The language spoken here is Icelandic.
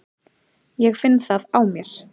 Ég finn það á mér.